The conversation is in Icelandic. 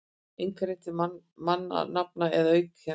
einkarétt til mannanafna eða auðkenna.